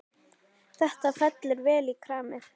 Þetta fellur vel í kramið.